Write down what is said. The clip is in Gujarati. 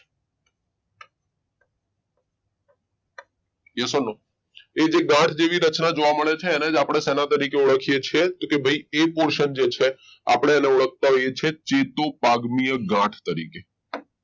yes or no એજે ગાંઠ જેવી રચનાઓ જોવા મળે છે ને આપણે સેના તરીકે ઓળખીએ છીએ તો કે ભાઈ એ પોષણ જે છે આપણે એને ઓળખતા હોઈએ છીએ ચેતુપાગમીય ગાંઠ તરીકે